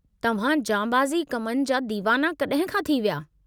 तव्हां जांबाज़ी कमनि जा दीवाना कॾहिं खां थी विया।